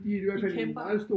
De kæmper